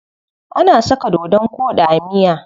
Ana saka dodon koɗi a miya.